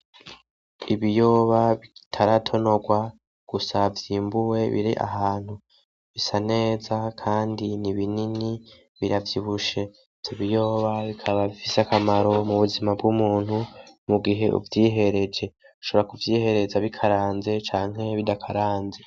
Ibiyoba bitaratonorwa gusa vyimbuwe biri ahantu bisa neza Kandi ni binini biravyibushe ,ivyo biyoba bifise akamaro mu buzima bw'umuntu mugihe uvyihereje, ushobora kuvyihereza bikaranze canke bidakaranze.